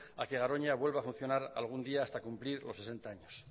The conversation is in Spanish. a que garoña vuelva a funcionar algún día hasta cumplir los sesenta años